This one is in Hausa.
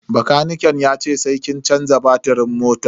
Bakaniken yace sai kin canza batirin motan.